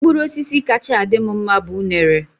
Mkpụrụ osisi kacha adị m mma bu unere.